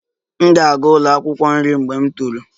M ga-aga ụlọ akwụkwọ nri mgbe m toro